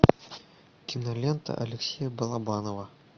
кинолента алексея балабанова